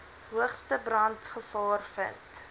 hoogste brandgevaar vind